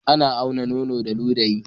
Ana aunar nono da ludayi